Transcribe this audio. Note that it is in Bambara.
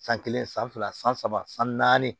San kelen san fila san saba san naani